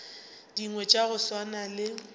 dingwe tša go swana le